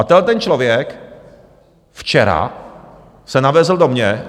A tenhleten člověk včera se navezl do mě.